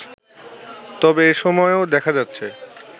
তবে এসময়েও দেখা যাচ্ছে